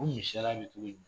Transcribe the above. O misaliya bɛ togo jumɛn